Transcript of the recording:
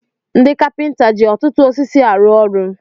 Ndị kapinta ji ọtụtụ osisi arụ ọrụ.